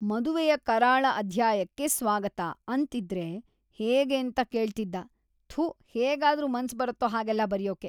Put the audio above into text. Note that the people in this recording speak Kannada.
"""ಮದುವೆಯ ಕರಾಳ ಅಧ್ಯಾಯಕ್ಕೆ ಸ್ವಾಗತ"" ಅಂತಿದ್ರೆ ಹೇಗೇಂತ ಕೇಳ್ತಿದ್ದ. ಥು ಹೇಗಾದ್ರೂ ಮನ್ಸ್‌ ಬರತ್ತೋ ಹಾಗೆಲ್ಲ ಬರ್ಯೋಕೆ!"